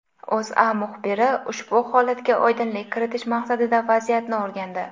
O‘zA muxbiri ushbu holatga oydinlik kiritish maqsadida vaziyatni o‘rgandi .